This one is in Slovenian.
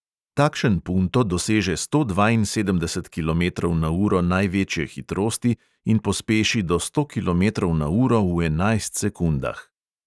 Takšen punto doseže sto dvainsedemdeset kilometrov na uro največje hitrosti in pospeši do sto kilometrov na uro v enajst sekundah.